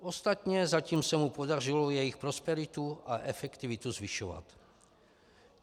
Ostatně zatím se mu podařilo jejich prosperitu a efektivitu zvyšovat.